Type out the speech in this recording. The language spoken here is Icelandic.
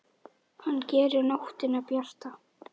Hann gerir nóttina bjarta.